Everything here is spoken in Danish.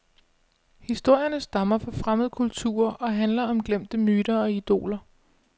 Historierne stammer fra fremmede kulturer og handler om glemte myter og idoler.